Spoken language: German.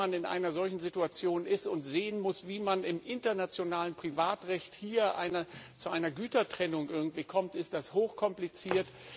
Wenn man in einer solchen Situation ist und sehen muss, wie man im internationalen Privatrecht irgendwie zu einer Gütertrennung kommt, ist das hochkompliziert.